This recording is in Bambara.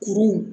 Kuru